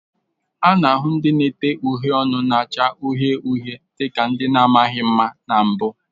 A na-ahụ ndị na-ete uhiè ọnụ na-acha uhie uhie dị ka ihe na-adịghị mma na mbụ